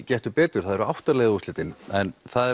Gettu betur það eru átta liða úrslitin en það